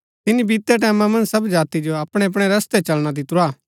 तिनी बीतै टैमां मन्ज सब जाति जो अपणै अपणै रस्तै चलना दितुरा